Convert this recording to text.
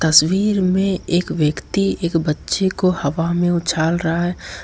तस्वीर में एक व्यक्ति एक बच्चे को हवा में उछाल रहा है।